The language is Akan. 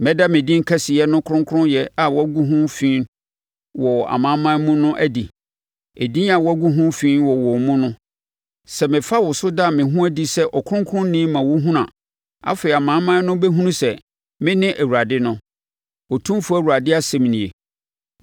Mɛda me din kɛseyɛ no kronkronyɛ a woagu ho fi wɔ amanaman mu no adi, edin a woagu ho fi wɔ wɔn mu no. Sɛ mefa wo so da me ho adi sɛ ɔkronkronni ma wɔhunu a, afei amanaman no bɛhunu sɛ mene Awurade no, Otumfoɔ Awurade asɛm nie.